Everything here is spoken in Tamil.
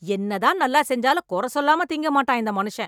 என்னதான் நல்லா செஞ்சாலும் கொற சொல்லாமல திங்க மாட்டான் இந்த மனுஷன்